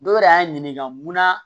Dɔw yɛrɛ y'a ɲininka munna